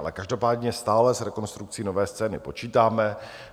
Ale každopádně stále s rekonstrukcí Nové scény počítáme.